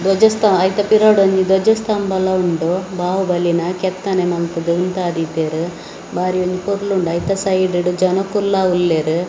ದ್ವಜಸ್ತವ ಅಯ್ತ ಪಿರಾವುಡು ಒಂಜಿ ದ್ವಜಸ್ತಂಬಲ ಉಂಡು‌ ಬಾಹುಬಲಿನ ಕೆತ್ತನೆ ಮಂತ್‌ದ್‌ ಉಂತಾದೀತೇರ್‌ ಬಾರಿ ಒಂಜಿ ಪೊರ್ಲು ಉಂಡು ಅಯ್ತ ಸೈಡ್‌ಡ್‌ ಜನ ಕುಲ್ಲಾವುಲ್ಲೇರ್ .